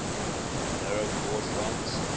narrow gauge lines